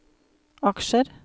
aksjer